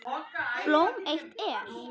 Blóm eitt er.